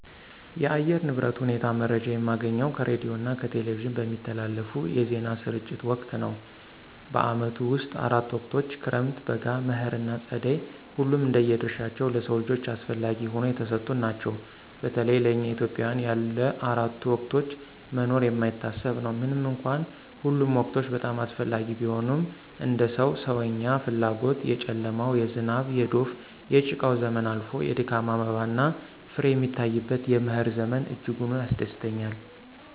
የአየር ንብረት ሁኔታ መረጃ የማገኘው ከሬዲዮና ከቴሌቪዥን በሚተላለፉ የዜና ስርጭት ወቅት ነው። በዓመቱ ውስጥ አራት ወቅቶች ክረምት፣ በጋ፣ መኸር ና ፀደይ ሁሉም እንደየ ድርሻቸው ለሰው ልጆች አስፈለጊ ሁነው የተሰጡን ናቸው። በተለይ ለእኛ ኢትዮጵያውያን ያለ አራቱ ወቅቶች መኖር የማይታሰብ ነው። ምንም እንኳን ሁሉም ወቅቶች በጣም አስፈላጊ ቢሆኑም እንደ ሰው ሰዎኛ ፍላጎት የጨለማው፣ የዝናብ፣ የዶፍ፣ የጭቃው ዘመን አልፎ የድካም አበባና ፍሬ የሚታይበት የመኸር ዘመን እጅጉን ያስደስተኛል።